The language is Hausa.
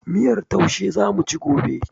Miyar taushe zamuci gobe